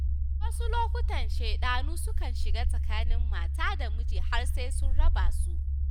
A wasu lokutan shaiɗanu sukan shiga tsakanin mata da miji har sai sun raba su.